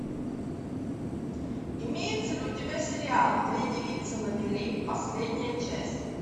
имеется ли у тебя сериал две девицы на мели последняя часть